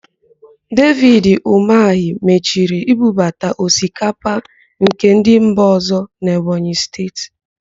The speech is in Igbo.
Devid Ụmahị maachiri ibubata osikapa nke ndị mba ọ̀zọ́ n'Ebonyi Steeti.